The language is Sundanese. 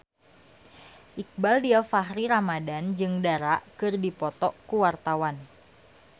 Iqbaal Dhiafakhri Ramadhan jeung Dara keur dipoto ku wartawan